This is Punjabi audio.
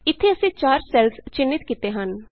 ਇਥੇ ਅਸੀਂ 4 ਸੈੱਲਸ ਚਿੰਨ੍ਹਿਤ ਕੀਤੇ ਹਨ